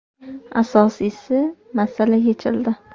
Asosiysi, masala yechildi.